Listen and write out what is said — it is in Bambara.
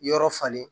Yɔrɔ falen